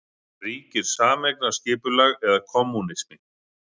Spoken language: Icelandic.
Þar ríkir sameignarskipulag eða kommúnismi.